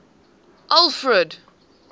alfred